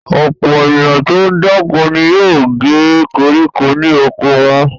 Ọ̀pọ̀ ènìyàn tó ń dáko ni yóò gé koríko ní oko wọn.